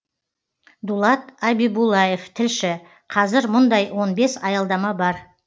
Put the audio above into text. дулат абибуллаев тілші қазір мұндай он бес аялдама бар